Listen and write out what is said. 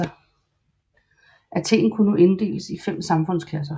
Athen kunne nu inddeles i fem samfundsklasser